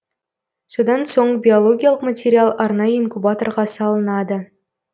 содан соң биологиялық материал арнайы инкубаторға салынады